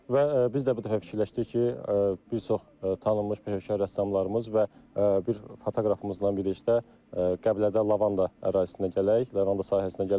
Və biz də bu dəfə fikirləşdik ki, bir çox tanınmış peşəkar rəssamlarımız və bir fotoqrafımızla birlikdə Qəbələdə lavanda ərazisinə gələk, lavanda sahəsinə gələk.